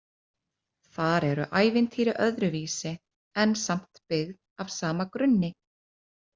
Þar eru ævintýrin öðruvísi en samt byggð af sama grunni.